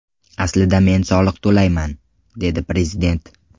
Aslida men soliq to‘layman”, – dedi prezident.